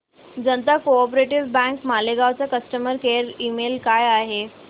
जनता co op bank Malegaon चा customer care email काय आहे